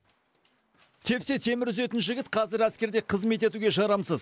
тепсе темір үзетін жігіт қазір әскерде қызмет етуге жарамсыз